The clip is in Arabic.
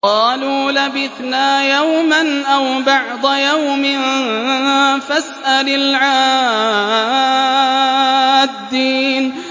قَالُوا لَبِثْنَا يَوْمًا أَوْ بَعْضَ يَوْمٍ فَاسْأَلِ الْعَادِّينَ